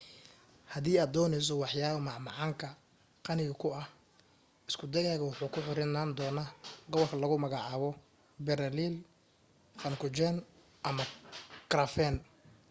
hadii aad dooneyso waxyaabo macmaanka qaniga ku ah isku daygaga wuxuu ku xirnaan doona gobolka lagu magacabo berliner pfannkuchen ama krapfen